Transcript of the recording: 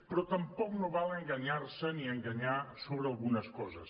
però tampoc no val enganyar se ni enganyar sobre algunes coses